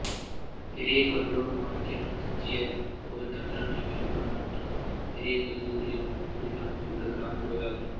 பெரியகொள்ளியூர் மாணிக்கநாச்சியார் கோயில் தமிழ்நாட்டில் விழுப்புரம் மாவட்டம் பெரியகொள்ளியூர் என்னும் ஊரில் அமைந்துள்ள கிராமக் கோயிலாகும்